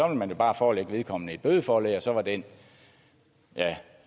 man jo bare forelægge vedkommende et bødeforlæg og så var den